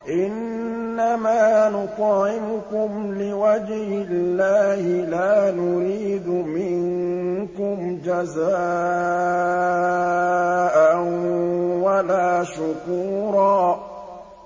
إِنَّمَا نُطْعِمُكُمْ لِوَجْهِ اللَّهِ لَا نُرِيدُ مِنكُمْ جَزَاءً وَلَا شُكُورًا